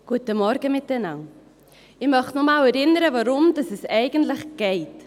Ich möchte noch einmal daran erinnern, worum es eigentlich geht.